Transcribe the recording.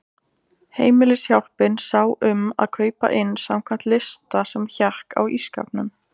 Heimilishjálpin sá um að kaupa inn samkvæmt lista sem hékk á ísskápnum.